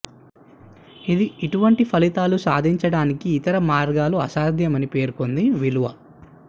ఇది ఇటువంటి ఫలితాలు సాధించడానికి ఇతర మార్గాలు అసాధ్యం అని పేర్కొంది విలువ